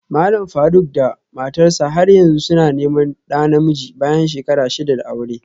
Malam Faruk da matarsa ​​har yanzu suna neman ɗa namiji bayan shekara shida da aure